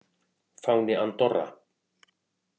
Fáni Andorra.